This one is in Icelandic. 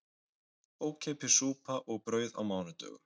Ókeypis súpa og brauð á mánudögum